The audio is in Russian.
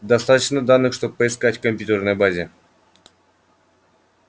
достаточно данных чтобы поискать в компьютерной базе